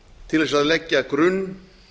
til þess að leggja grunn